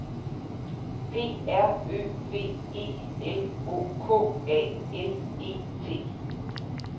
P R Ø V E L O K A L E T